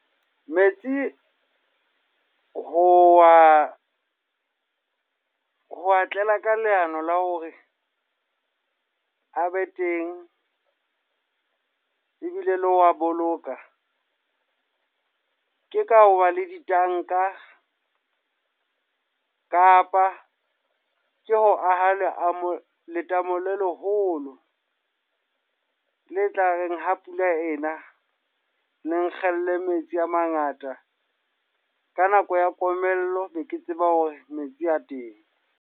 Metsi ho wa, ho wa tlela ka leano la hore a be teng, ebile le ho wa boloka. Ke ka hoba le ditanka kapa ke ho aha leamo, letamo le leholo. Le tla reng ha pula ena, le kgelle metsi a mangata. Ka nako ya komello be ke tseba hore metsi a teng.